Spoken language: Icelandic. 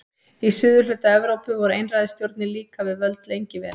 Í suðurhluta Evrópu voru einræðisstjórnir líka við völd lengi vel.